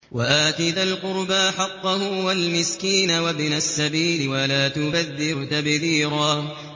وَآتِ ذَا الْقُرْبَىٰ حَقَّهُ وَالْمِسْكِينَ وَابْنَ السَّبِيلِ وَلَا تُبَذِّرْ تَبْذِيرًا